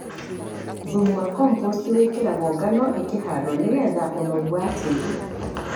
Thumu wa Komposti wĩkĩragwo ngano ĩkĩhandwo nĩgetha ũnoru watĩri.